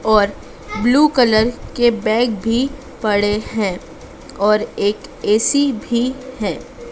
और blue colour के bag भी पड़े हैं और एक ए_सी भी है।